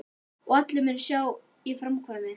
Og allir munu sjá að ég framkvæmi!